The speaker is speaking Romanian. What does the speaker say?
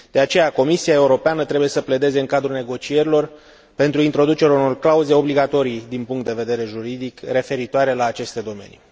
De aceea, Comisia Europeană trebuie să pledeze în cadrul negocierilor pentru introducerea unor clauze obligatorii din punct de vedere juridic referitoare la aceste domenii.